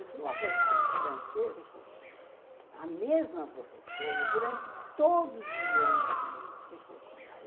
Eu tive uma professora de francês, a mesma professora, durante todos os anos do meu ensino secundário.